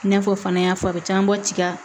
I n'a fɔ fana y'a fɔ a bɛ camanba tiga